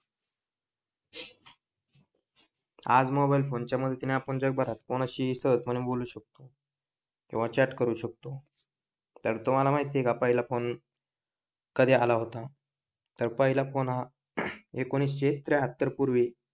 आज mobile phone च्या मदतीने आपण जगभरात कोणाशीही सहजपने बोलू शकतो किंवा चॅट करू शकतो तर तुम्हाला माहित आहे का पहिला फोन कधी आला होता? तर पहिला फोन हा एकोणीसशे त्र्याहत्तर पूर्वी.